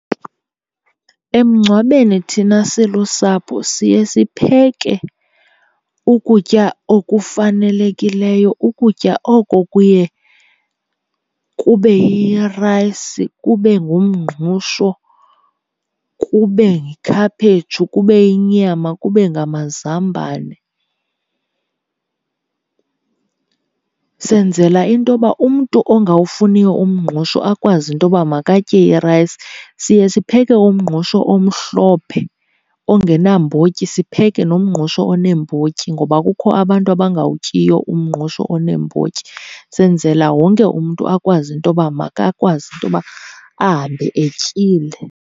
Emngcwabeni thina silusapho siye sipheke ukutya okufanelekileyo. Ukutya oko kuye kube yirayisi, kube ngumngqusho, kube yikhaphetshu, kube yinyama kube ngamazambane. Senzela into yoba umntu ongawufuniyo umngqusho akwazi into yoba makatye irayisi. Siye sipheke umngqusho omhlophe ongenambotyi, sipheke nomngqusho oneembotyi, ngoba kukho abantu abangawutyiyo umngqusho oneembotyi. Senzela wonke umntu akwazi into yoba makakwazi into yoba ahambe etyile.